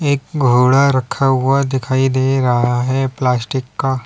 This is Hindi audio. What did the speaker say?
एक घोड़ा रखा हुआ दिखाई दे रहा है प्लास्टिक का।